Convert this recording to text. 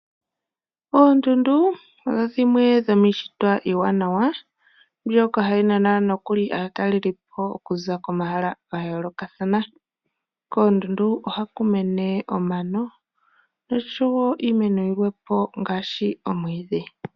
Oondundu odho dhimwe dhomiintshitwe iiwanawa mbyoka hayi nana nokuli aatalelipo okuza komahala ga yoolokathana. Koondundu ohaku mene omano oshowo iimeno yimwe po ngaashi omwiidhi.